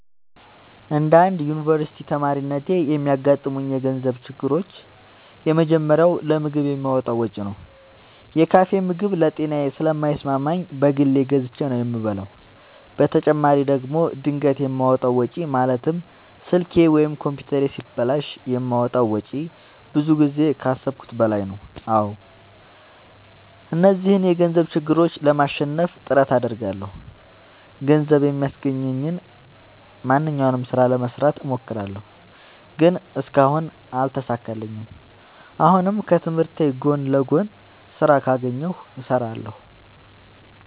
እንደ አንድ ዮኒቨርስቲ ተማሪነቴ የሚያጋጥሙኝ የገንዘብ ችግሮች የመጀመሪያው ለምግብ የማወጣው ወጪ ነው። የካፌ ምግብ ለጤናዬ ስለማይስማማኝ በግል ገዝቼ ነው የምበላው በተጨማሪ ደግሞ ድንገት የማወጣው ወጪ ማለትም ስልኬ ወይም ኮምፒውተሬ ሲበላሽ የማወጣው ወጪ ብዙ ጊዜ ከአሠብኩት በላይ ነው። አዎ እነዚህን የገንዘብ ችግሮች ለማሸነፍ ጥረት አደርጋለሁ። ገንዘብ የሚያስገኘኝን ማንኛውንም ስራ ለመስራት እሞክራለሁ። ግን እስካሁን አልተሳካልኝም። አሁንም ከትምህርቴ ጎን ለጎን ስራ ካገኘሁ እሠራለሁ።